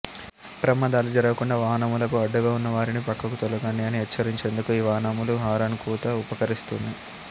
ప్రమాదాలు జరగకుండా వాహనములకు అడ్డుగా ఉన్న వారిని ప్రక్కకు తొలగండి అని హెచ్చరించేందుకు ఈ వాహనముల హారన్ కూత ఉపకరిస్తుంది